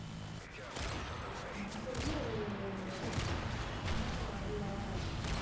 எனக்கு வந்து அது மயக்கம் வரலை